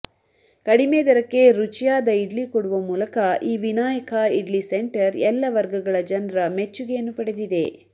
ಕಡಿಮೆ ದರಕ್ಕೆ ರುಚಿಯಾದ ಇಡ್ಲಿ ಕೊಡುವ ಮೂಲಕ ಈ ವಿನಾಯಕ ಇಡ್ಲಿ ಸೆಂಟರ್ ಎಲ್ಲ ವರ್ಗಗಳ ಜನರ ಮೆಚ್ಚುಗೆಯನ್ನು ಪಡೆದಿದೆ